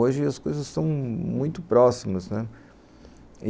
Hoje as coisas são muito próximas, né.